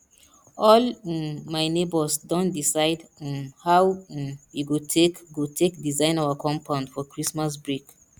all um my nebors don decide um how um we go take go take design our compound for christmas break